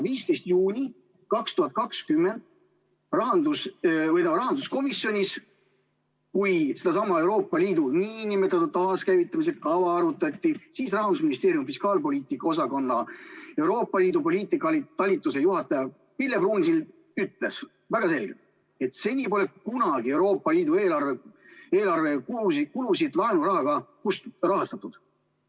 15. juunil 2020 rahanduskomisjonis, kui sedasama Euroopa Liidu nn taaskäivitamise kava arutati, siis Rahandusministeeriumi fiskaalpoliitika osakonna Euroopa Liidu poliitika talituse juhataja Pille Pruunsild ütles väga selgelt, et seni pole kunagi Euroopa Liidu eelarve kulusid laenurahaga rahastatud.